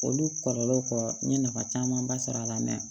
Olu kɔlɔlɔ n ye nafa camanba sɔrɔ a la